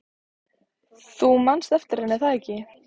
Þú manst eftir henni, er það ekki?